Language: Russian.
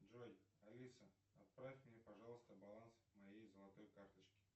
джой алиса отправь мне пожалуйста баланс моей золотой карточки